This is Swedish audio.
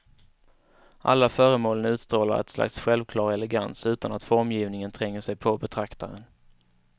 Alla föremålen utstrålar ett slags självklar elegans, utan att formgivningen tränger sig på betraktaren.